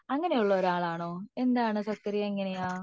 അങ്ങനെ ഉള്ള ഒരാളാണോ എന്താണ് സക്കറിയ എങ്ങനെയാ